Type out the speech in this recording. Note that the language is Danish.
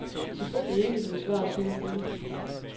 Selvfølgelig ikke, vil svaret sikkert lyde.